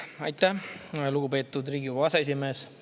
Aitäh, lugupeetud Riigikogu aseesimees!